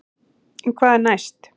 En hvað er næst?